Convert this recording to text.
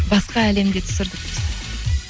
басқа әлемде түсірдік біз